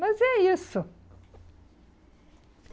Mas é isso.